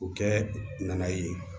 U kɛ nana ye